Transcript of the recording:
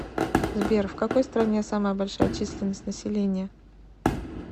сбер в какой стране самая большая численность населения